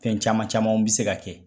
Fɛn caman camanw bɛ se ka kɛ